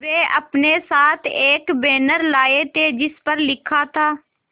वे अपने साथ एक बैनर लाए थे जिस पर लिखा था